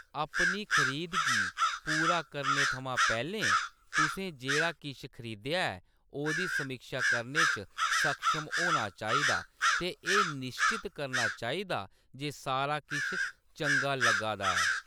अपनी खरीद गी पूरा करने थमां पैह्‌‌‌लें, तुसें जेह्‌‌ड़ा किश खरीदेआ ऐ ओह्‌‌‌दी समीक्षा करने च सक्षम होना चाहिदा ते एह्‌‌ निश्चत करना चाहिदा जे सारा किश चंगा लग्गा दा ऐ।